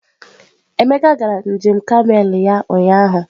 Emeka gara njem kamel ya ụnyahụ.